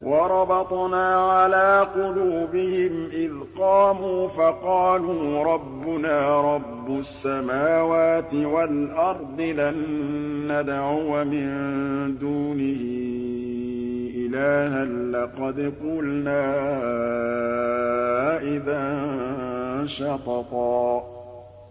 وَرَبَطْنَا عَلَىٰ قُلُوبِهِمْ إِذْ قَامُوا فَقَالُوا رَبُّنَا رَبُّ السَّمَاوَاتِ وَالْأَرْضِ لَن نَّدْعُوَ مِن دُونِهِ إِلَٰهًا ۖ لَّقَدْ قُلْنَا إِذًا شَطَطًا